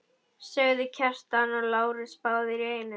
sögðu Kjartan og Lárus báðir í einu.